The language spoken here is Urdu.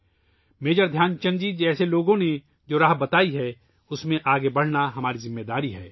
میجر دھیان چند جی جیسے لوگوں نے ، جو راہ بتائی ہے ، اُس پر آگے بڑھنا ہماری ذمہ داری ہے